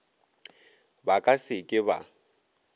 ba ka se ke ba